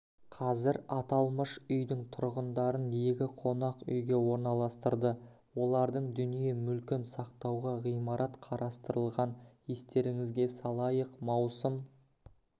қазір аталмыш үйдің тұрғындарын екі қонақ үйге орналастырды олардың дүние-мүлкін сақтауға ғимарат қарастырылған естеріңізге салайық маусым